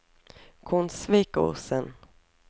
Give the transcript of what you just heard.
Konsvikosen